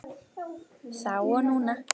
Þá og núna.